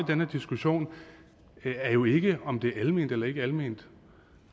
den her diskussion jo ikke er om det er alment eller ikke er alment